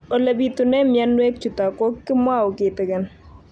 Ole pitune mionwek chutok ko kimwau kitig'�n